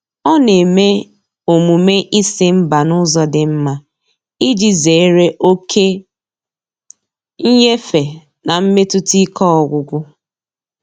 Ọ na-eme omume ịsị mba n'ụzọ dị mma iji zere oke nyefe na mmetụta ike ọgwụgwụ.